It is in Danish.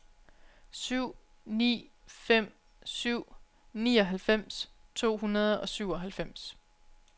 syv ni fem syv nioghalvfems to hundrede og syvoghalvfems